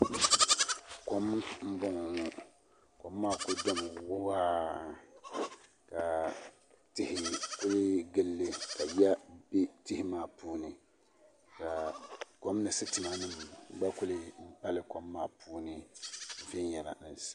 Kom n boŋo kom maa ku domi waa ka tihi ku gilli ka yiya bɛ tihi maa puuni ka kom sitima nim gba kuli pali kom maa puuni viɛnyɛlinga